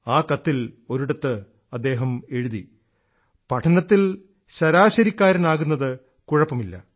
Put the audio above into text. ആ കത്തിൽ ഒരിടത്ത് അദ്ദേഹം എഴുതി പഠനത്തിൽ ശരാശരിക്കാരനാകുന്നത് കുഴപ്പമില്ല